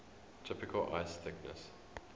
typical ice thickness